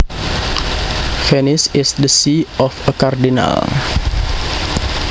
Venice is the see of a cardinal